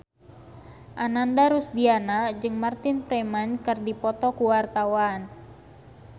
Ananda Rusdiana jeung Martin Freeman keur dipoto ku wartawan